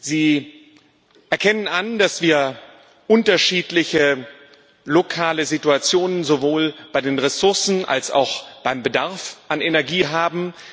Sie erkennen an, dass wir unterschiedliche lokale Situationen sowohl bei den Ressourcen als auch beim Bedarf an Energie haben.